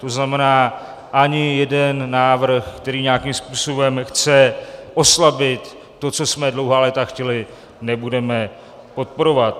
To znamená, ani jeden návrh, který nějakým způsobem chce oslabit to, co jsme dlouhá léta chtěli, nebudeme podporovat.